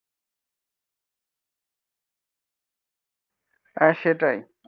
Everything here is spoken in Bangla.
হ্যাঁ সেটাই.